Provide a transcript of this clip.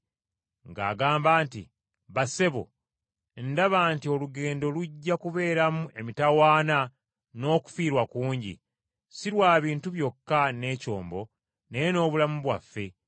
ng’agamba nti, “Bassebo, ndaba nti olugendo lujja kubeeramu emitawaana n’okufiirwa kungi, si kwa bintu byokka n’ekyombo, naye n’obulamu bwaffe.”